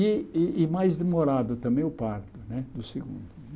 E e e mais demorado também o parto né do segundo.